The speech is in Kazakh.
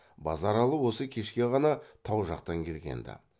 базаралы осы кешке ғана тау жақтан келгенді